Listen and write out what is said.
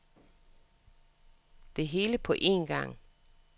Det hele på en gang.